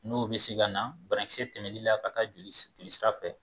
N'o bɛ se ka na banakisɛ tɛmɛnli la ka taa joli jolisira fɛ.